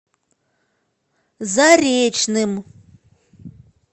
заречным